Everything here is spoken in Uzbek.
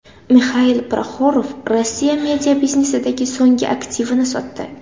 Mixail Proxorov Rossiya mediabiznesidagi so‘nggi aktivini sotdi.